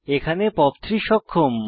এখানে পপ 3 সক্ষম